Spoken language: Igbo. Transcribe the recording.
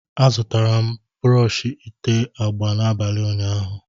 A zụtara m brọsh ité agba n'abalị ụnyaahụ.